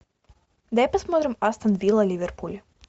давай посмотрим астон вилла ливерпуль